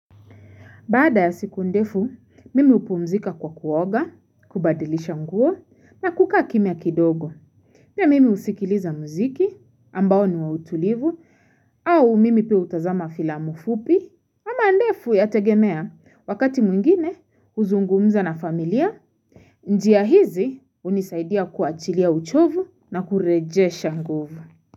Baada ya siku ndefu, mimi hupumzika kwa kuoga, kubadilisha nguo na kuka kimya kidogo. Pia mimi husikiliza muziki ambao niwa utulivu au mimi pia utazama filamu fupi. Ama ndefu yategemea wakati mwingine uzungumza na familia. Njia hizi hunisaidia kuachilia uchovu na kurejesha nguvu.